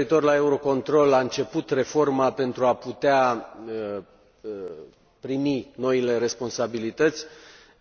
Referitor la Eurocontrol, a început reforma pentru a putea primi noile responsabilități,